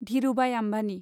Dhirubhai Ambani